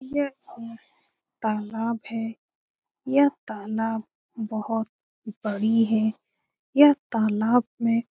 य ये तालाब है ये तालाब बहुत बड़ी है यह तलाब में--